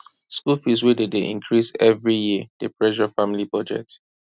school fees wey dey dey increase every year dey pressure family budget